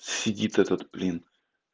сидит этот блин